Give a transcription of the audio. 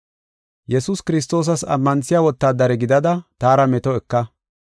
Yesuus Kiristoosas ammanthiya wotaadare gidada taara meto eka.